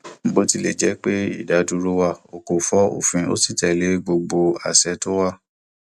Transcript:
bó tilẹ jẹ pé ìdádúró wà ó kò fọ òfin ó sì tẹlé gbogbo àṣẹ tó wà